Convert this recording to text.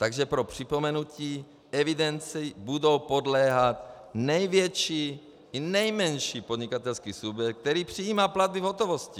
Takže pro připomenutí: Evidenci bude podléhat největší i nejmenší podnikatelský subjekt, který přijímá platby v hotovosti.